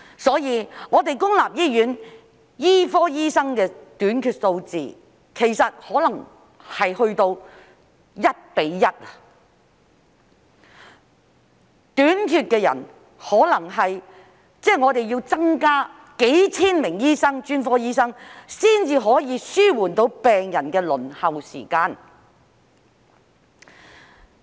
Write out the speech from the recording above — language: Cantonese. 所以，我們公立醫院專科醫生的短缺數字其實可能達至 1：1， 即是公立醫院要增加數千名專科醫生才可以紓緩病人的輪候時間。